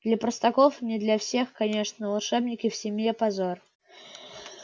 для простаков не для всех конечно волшебники в семье позор